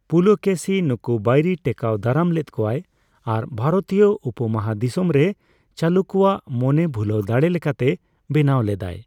ᱯᱩᱞᱚᱠᱮᱥᱤ ᱱᱩᱠᱩ ᱵᱟᱭᱨᱤ ᱴᱮᱠᱟᱣ ᱫᱟᱨᱟᱢ ᱞᱮᱫ ᱠᱚᱭᱟᱭ ᱟᱨ ᱵᱷᱟᱨᱚᱛᱤᱭᱟᱹ ᱩᱯᱚ ᱢᱟᱦᱟᱫᱤᱥᱚᱢᱨᱮ ᱪᱟᱞᱩᱠᱠᱚ ᱟᱜ ᱢᱚᱱᱮ ᱵᱷᱩᱞᱟᱣ ᱫᱟᱲᱮ ᱞᱮᱠᱟᱛᱮ ᱵᱮᱱᱟᱣ ᱞᱮᱫᱟ᱾